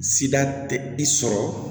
Sida tɛ i sɔrɔ